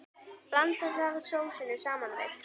Blandið þá sósunni saman við.